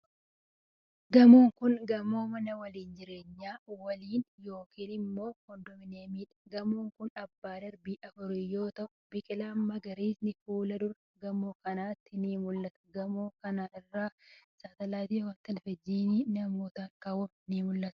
Gamoon kun, gamoo mana waliin jireenyaa waliinii yokin immoo kondoominiyamii dha. Gamoon kun, abbbaa darbii afurii yoo ta'u, biqiloonni magariisni fuuldura gamoo kanatti ni mul'atu. Gamoo kana irra saatalaaytiin televizyinii namootaa kaawwamee ni mul'atu.